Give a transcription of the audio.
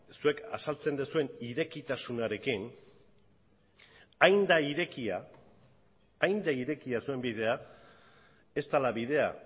zuek azaltzen duzuen irekitasunarekin hain da irekia hain da irekia zuen bidea ez dela bidea